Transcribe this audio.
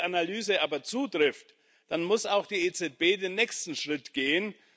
Wenn diese Analyse aber zutrifft, dann muss auch die EZB den nächsten Schritt gehen.